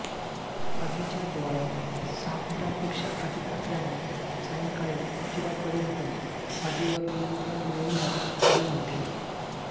आगीच्या ज्वाळा सहा फुटांपेक्षा अधिक असल्याने सायंकाळी उशिरापर्यंत आगीवर नियंत्रण मिळविण्यात आले नव्हते